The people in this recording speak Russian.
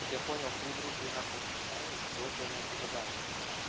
как я понял три группы у нас в расписании четвёртую она ещё добавит